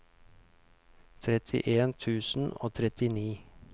trettien tusen og trettini